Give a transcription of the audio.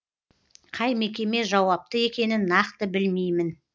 қай мекеме жауапты екенін нақты білмеймін